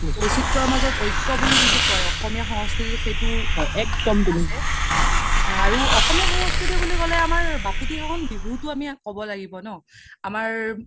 বৈচিত্ৰ্যৰ মাজত ঐক্য বুলি জিতো কৈ অসমীয়া সংস্কৃতিত সেইটো আছে আৰু অসমীয়া সংস্কৃতি বুলি ক্'লে আমাৰ বাপোতি খাহুন বিহুটো আমি ক্'ব লাগিব ন আমাৰ